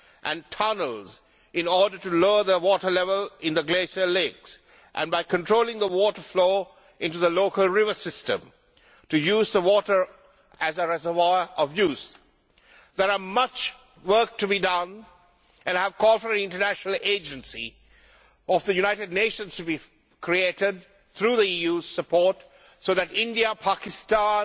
and tunnels in order to lower the water level in the glacial lakes, and by controlling the water flow into the local river system to use the water as a reservoir for use. There is much work to be done and I call for an international agency of the United Nations to be created, through the EU's support, so that India, Pakistan,